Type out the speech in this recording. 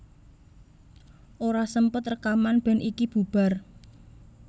Ora sempet rekaman band iki bubar